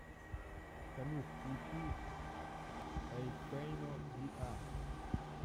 салют включи эи пэйно ви а